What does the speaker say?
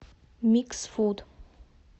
микс фуд